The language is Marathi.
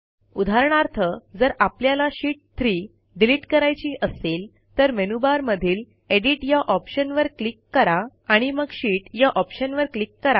उदाहरणार्थ जर आपल्याला शीत 3 डिलिट करायची असेल तर मेनूबार मधील एडिट या ऑप्शनवर क्लिक करा आणि मग शीत या ऑप्शनवर क्लिक करा